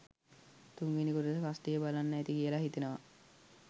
තුන්වෙනි කොටස කස්ටිය බලන්න ඇති කියලා හිතනවා.